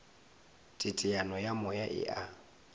teteano ya moya e a